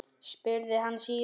spurði hann síðan.